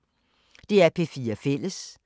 DR P4 Fælles